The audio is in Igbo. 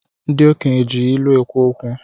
Ndi okenye ji ilu ekwu okwu